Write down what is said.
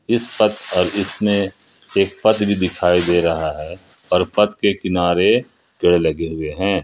इस पथ पर इतने एक पथ भी दिखाई दे रहा है और पथ के किनारे पेड़ लगे हुए हैं।